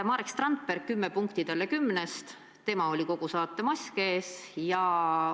Marek Strandberg – kümme punkti talle kümnest, temal oli kogu saate ajal mask ees.